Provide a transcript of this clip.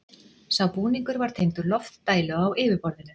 Sá búningur var tengdur loftdælu á yfirborðinu.